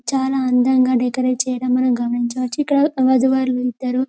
చాలా అందంగా డెకరాటే చేయటం మనము గమనించవచ్చు ఇక్కడ వద్దు వరులు ఇద్దరు --